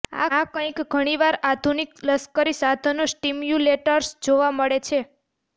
આ કંઈક ઘણીવાર આધુનિક લશ્કરી સાધનો સ્ટિમ્યુલેટર્સ જોવા મળે છે